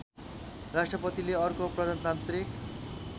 राष्ट्रपतिले अर्को प्रजातान्त्रिक